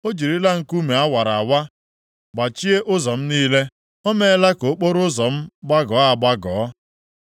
O jirila nkume a wara awa gbachie ụzọ m niile, o meela ka okporoụzọ m gbagọọ agbagọ.